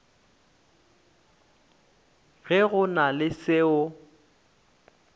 ge go na le seo